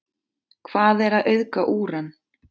Hvað er að auðga úran?